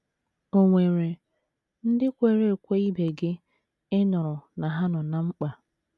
Ò nwere ndị kwere ekwe ibe gị ị nụrụ na ha nọ ná mkpa?